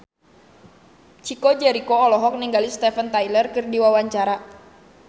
Chico Jericho olohok ningali Steven Tyler keur diwawancara